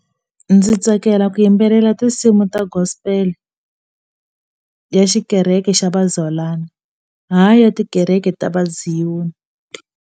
Ndzi tsakela ku yimbelela tinsimu ta gospel ya xikereke xa vazalwana hayi ya tikereke ta va zion.